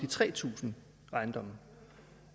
tre tusind ejendomme